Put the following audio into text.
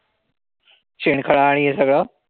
शेणखळा आणि हे सगळं?